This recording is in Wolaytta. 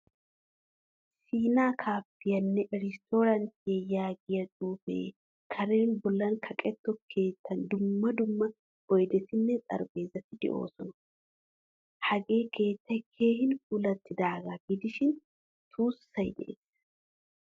Siina kaafiyanne irestorantiyaa yaagiyaa xuufee kaaren bollan kaqqetto keettan dumma dumma oydetinne xaraphpheezati deosona. Hagee keettay keehin puulattidaaga gidishin tuussay de'ees.